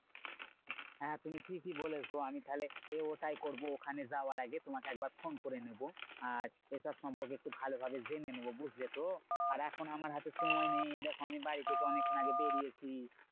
হ্যাঁ তুমি ঠিকই বলেছো। আমি তাহলে এ ওটাই করবো। ওখানে যাওয়ার আগে তোমাকে একবার ফোন করে নেবো। আর এটার সম্পর্কে একটু ভালো ভাবে জেনে নেবো, বুঝলে তো? আর এখন আমার হাতে সময় নেই। এই দেখো আমি বাড়ি থেকে অনেক্ষন আগে বেড়িয়েছি।